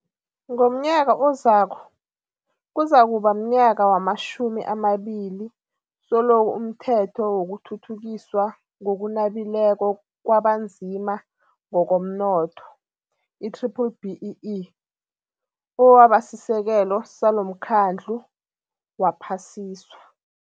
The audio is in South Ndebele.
Ngomnyaka ozako, kuzakuba mnyaka wamatjhumi amabili selokhu umThetho wokuThuthukiswa ngokuNabileko kwabaNzima ngokomNotho, i-B-BBEE, owabasisekelo salomkhandlu waphasiswa.